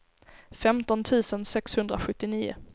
femton tusen sexhundrasjuttionio